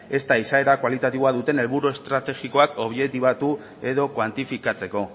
ezta izaera kualitatiboa duten helburu estrategikoak objektibatu edo kuantifikatzeko